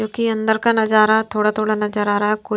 क्योंकि अंदर का नजारा थोड़ा-थोड़ा नजर आ रहा है कु --